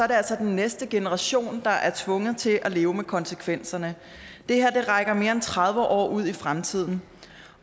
det altså den næste generation der er tvunget til at leve med konsekvenserne det her rækker mere end tredive år ud i fremtiden